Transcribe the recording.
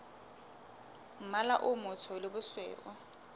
mmala o motsho le bosweu